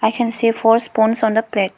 we can see four spoons on the plate.